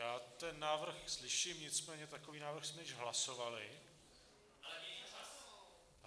Já ten návrh slyším, nicméně takový návrh jsme již hlasovali.